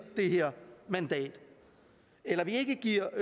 det her mandat eller at vi ikke giver